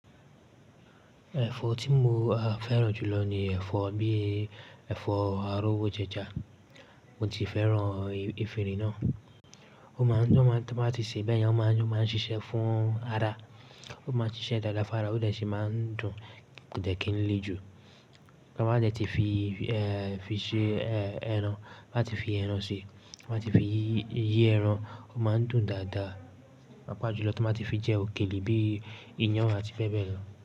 Ẹ̀fọ́ tí mo fẹ́ràn jùlọ ni ẹ̀fọ́ bíi, ẹ̀fọ́ arowojeja. Mo ti fẹ́ràn efinrin náà. Ó máa ń ó máa ń tí wọ́n bá ti ṣee bẹ́yẹn, ó máa ń ó máa ń ṣiṣẹ́ fún ara. Ó máa ń ṣiṣẹ́ dáadáa fún ara, ó dẹ̀ ṣi máa ń dùn, kò dẹ̀ kí n lé jù. Tí wọ́n bá dẹ́ ti fi fi ṣe ẹran, bá ti fi ẹran ṣi, bá ti fi yí ẹran, ó máa ń dùn dáadáa, pàapaá jù lọ tí wọ́n bá ti fi jẹ òkèlè bí i iyán àti bẹ́ẹ̀ bẹ́ẹ̀ lọ.